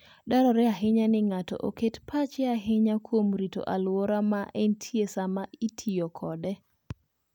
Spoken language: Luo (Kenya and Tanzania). Dwarore ahinya ni ng'ato oket pache ahinya kuom rito alwora ma entie sama itiyo kode.